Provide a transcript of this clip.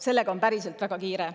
Sellega on päriselt väga kiire.